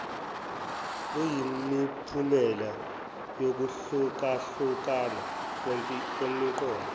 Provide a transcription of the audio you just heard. luyimiphumela yokuhlukahlukana kwemiqondo